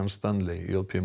Stanley j p